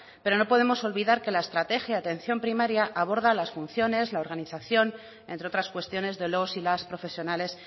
pero no podemos olvidar que la estrategia de atención primaria aborda las funciones la organización entre otras cuestiones de los y las profesionales